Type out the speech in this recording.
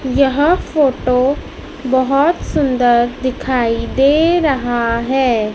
यह फोटो बहुत सुंदर दिखाई दे रहा है।